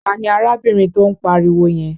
Ta ni arábìnrin tó ń pariwo yẹn?